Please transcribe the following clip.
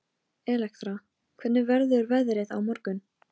Hjörleifur, lækkaðu í græjunum.